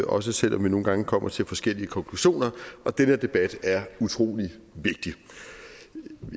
også selv om vi nogle gange kommer til forskellige konklusioner og den her debat er utrolig vigtig